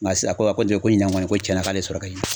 Nga sisan a ko a ko ten ko ɲinan kɔni ko cɛnna k'ale ye sɔrɔ kɛ ɲinan